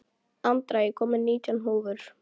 Andra, ég kom með nítján húfur!